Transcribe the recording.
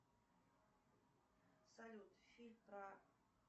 салют фильм про